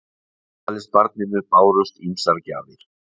Afmælisbarninu bárust ýmsar gjafir